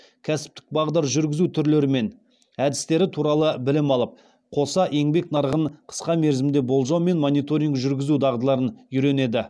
кәсіптік бағдар жүргізу түрлері мен әдістері туралы білім алып қоса еңбек нарығын қысқа мерзімді болжау және мониторинг жүргізу дағдыларын үйренеді